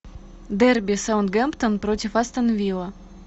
дерби саутгемптон против астон вилла